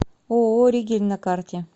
ооо ригель на карте